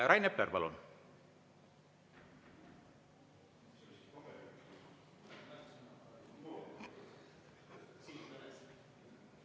Rain Epler, palun!